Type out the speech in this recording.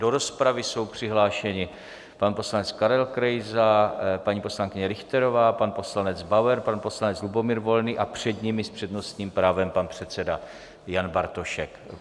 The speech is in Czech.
Do rozpravy jsou přihlášeni pan poslanec Karel Krejza, paní poslankyně Richterová, pan poslanec Bauer, pan poslanec Lubomír Volný a před nimi s přednostním právem pan předseda Jan Bartošek.